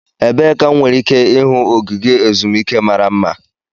Ebee ka m nwere ike ịhụ ogige ezumike mara mma?